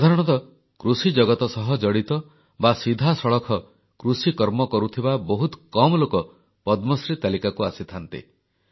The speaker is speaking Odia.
ସାଧାରଣତଃ କୃଷିଜଗତ ସହ ଜଡ଼ିତ ବା ସିଧାସଳଖ କୃଷିକର୍ମ କରୁଥିବା ବହୁତ କମ୍ ଲୋକ ପଦ୍ମଶ୍ରୀ ତାଲିକାକୁ ଆସିଥାନ୍ତି